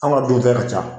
An ka dun tɛ ka ca